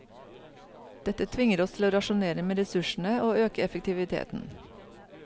Dette tvinger oss til å rasjonere med ressursene og øke effektiviteten.